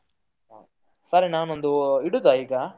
ಹ, ಸರಿ ನಾನು ಒಂದು ಇಡುದ ಈಗ?